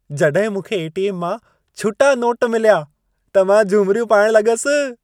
जॾहिं मूंखे ए.टी.एम. मां छुटा नोट मिलिया, त मां झुमिरियूं पाइण लॻसि।